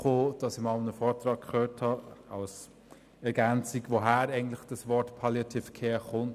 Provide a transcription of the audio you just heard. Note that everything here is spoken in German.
Ich habe einmal an einem Vortrag gehört, woher das Wort «Palliative Care» kommt.